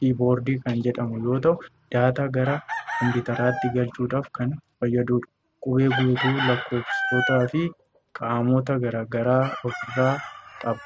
'keyboard' kan jedhamu yoo ta'u, daataa gara kompiwuuteraatti galchuudhaaf kan fayyaduudha. Qubee guutuu, lakkoofsotaa fi qaamota garaa garaa ofirraa qaba.